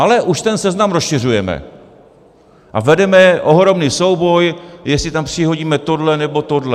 Ale už ten seznam rozšiřujeme a vedeme ohromný souboj, jestli tam přihodíme tohle nebo tohle.